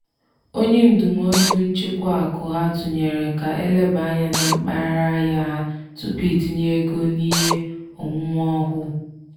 “onye ndụmọdụ nchịkwa akụ ha tụnyere ka elebaa anya na mpaghara ahịa ha tupu itinye ego n'ihe onwunwe ọhụụ.”